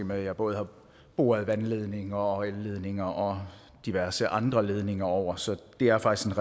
med at jeg både har boret vandledninger og elledninger og diverse andre ledninger over så det er faktisk